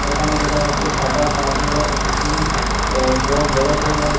এখানে দেখা যাচ্ছে সাদা ছাদওয়ালা একটি অ্যা গ বড় ঘর রয়েছে।